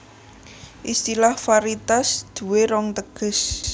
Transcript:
Istilah varietas duwé rong teges